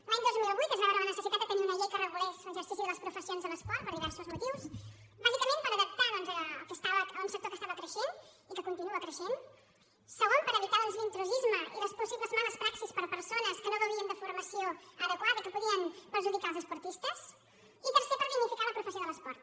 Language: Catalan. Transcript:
l’any dos mil vuit es va veure la necessitat de tenir una llei que regulés l’exercici de les professions de l’esport per diversos motius bàsicament per adaptar doncs un sector que estava creixent i que continua creixent segon per evitar l’intrusisme i les possibles males praxis per persones que no gaudien de formació adequada i que podien perjudicar els esportistes i tercer per dignificar la professió de l’esport